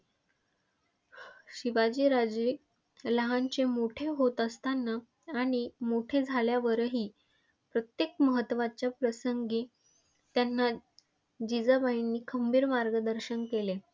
शिवाजी राजे लहानाचे मोठे होत असताना आणि मोठे झाल्यावरही प्रत्येक महत्वाच्या प्रसंगी त्यांना जिजाबाईंनी खंबीर मार्गदर्शन केले.